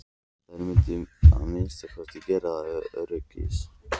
Þær mundu að minnsta kosti gera það ef öryggis